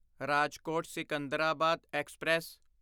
Rajkot Secunderabad express